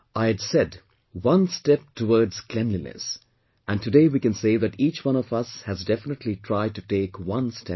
I had said 'one step towards cleanliness' and today we can say that each one of us has definitely tried to take one step further